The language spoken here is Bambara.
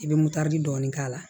I bɛ dɔɔnin k'a la